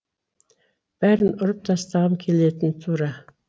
бәрін ұрып тастағым келетін тура